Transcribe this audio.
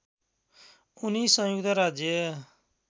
उनी संयुक्त राज्य